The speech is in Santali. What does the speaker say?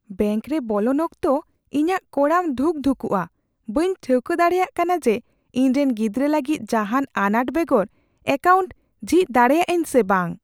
ᱵᱮᱝᱠᱨᱮ ᱵᱚᱞᱚᱱ ᱚᱠᱛᱚ, ᱤᱧᱟᱹᱜ ᱠᱚᱲᱟᱢ ᱫᱷᱩᱠᱼᱫᱷᱩᱠᱩᱜᱼᱟ, ᱵᱟᱹᱧ ᱴᱷᱟᱹᱣᱠᱟᱹ ᱫᱟᱲᱮᱭᱟᱜ ᱠᱟᱱᱟ ᱡᱮ ᱤᱧᱨᱮᱱ ᱜᱤᱫᱽᱨᱟᱹ ᱞᱟᱹᱜᱤᱫ ᱡᱟᱦᱟᱱ ᱟᱱᱟᱴ ᱵᱮᱜᱚᱨ ᱮᱠᱟᱣᱩᱱᱴ ᱡᱷᱤᱡ ᱫᱟᱲᱮᱭᱟᱜ ᱟᱹᱧ ᱥᱮ ᱵᱟᱝ ᱾